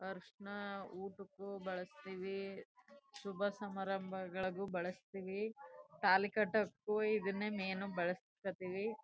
ಅರಿಶಿನ ಊಟಕ್ಕೂ ಬಳಸ್ತೀವಿ ಶುಭ ಸಮಾರಂಭಗಳು ಬಳಸ್ತೀವಿ ತಾಳಿ ಕಟ್ಟೋಕು ಇದನ್ನೆ ಮೇನ್ ಬಳಸ್ತೀವಿ.